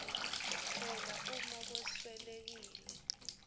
phela uma kweswelekile